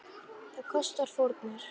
Það kostar fórnir.